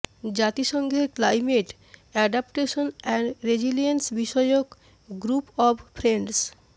জাতিসংঘের climate adaptation and resilience বিষয়ক group of friends